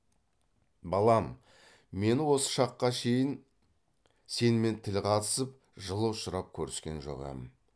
балам мені осы шаққа шейін сенімен тіл қатысып жылыұшырап көріскен жоқ ем